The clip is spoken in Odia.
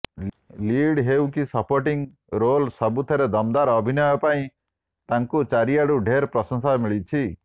ଲିଡ୍ ହେଉ କି ସପୋର୍ଟିଂ ରୋଲ୍ ସବୁଥିରେ ଦମ୍ଦାର୍ ଅଭିନୟ ପାଇଁ ତାଙ୍କୁ ଚାରିଆଡ଼ୁ ଢେର୍ ପ୍ରଶଂସା ମିଳିଛି